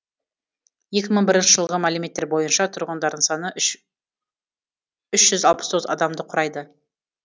екі мың бірінші жылғы мәліметтер бойынша тұрғындарының саны үш жүз алпыс тоғыз адамды құрайды